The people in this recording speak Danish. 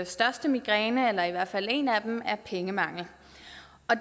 største migræne eller i hvert fald en af dem er pengemangel